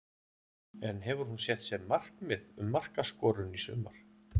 En hefur hún sett sér markmið um markaskorun í sumar?